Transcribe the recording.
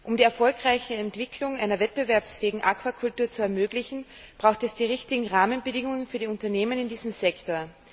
Um die erfolgreiche Entwicklung einer wettbewerbsfähigen Aquakultur zu ermöglichen, braucht es die richtigen Rahmenbedingungen für die Unternehmen in diesem Sektor.